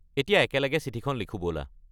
এতিয়া একেলগে চিঠিখন লিখো ব'লা।